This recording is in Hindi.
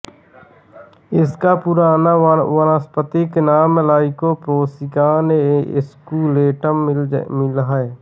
इसका पुराना वानस्पतिक नाम लाइकोपोर्सिकान एस्कुलेंटम मिल है